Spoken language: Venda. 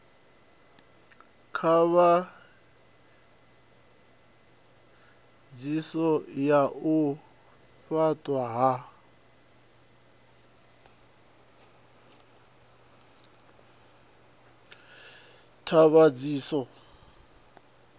ṱhavhanyiso ya u fhaṱwa ha